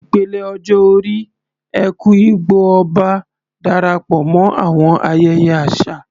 Ìpele ọjọ́ orí "Eku-Igbo-Oba" Darapọ̀ mọ́ àwọn ayẹyẹ àṣà